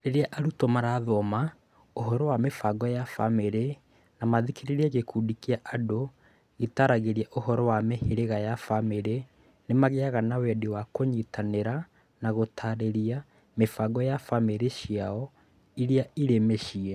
Rĩrĩa arutwo marathoma ũhoro wa mĩbango ya famĩrĩ na mathikĩrĩrie gĩkundi kĩa andũ kĩtaaragĩria ũhoro wa mĩhĩrĩga ya famĩrĩ nĩ magĩaga na wendi wa kũnyitanĩra na gũtaarĩria mĩbango ya famĩrĩ ciao iria irĩ mĩciĩ.